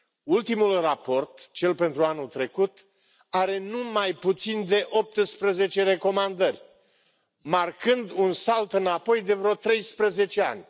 Ultimul raport, cel pentru anul trecut, are nu mai puțin de 18 recomandări, marcând un salt înapoi de vreo 13 ani.